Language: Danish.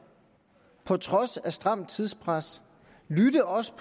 på trods af stramt tidspres man lytter også